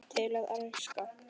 Til að elska.